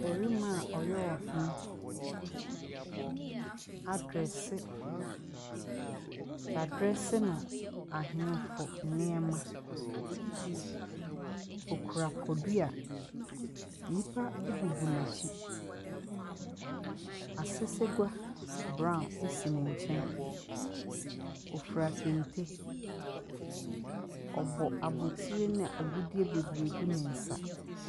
Bɛrima a ɔyɛ ɔhene, adrɛse, yadrɛse no ahenfo nneɛma. Ɔkura podua, nnipa egugu n'akyi, asesegua braon esi ne nkyɛn. Ɔfira kente, ɔbɔ abotire na agudeɛ bebree gu ne nsa.